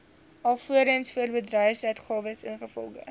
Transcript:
alvorens voorbedryfsuitgawes ingevolge